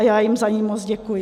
A já jim za ni moc děkuji.